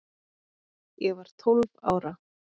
Ég var tólf ára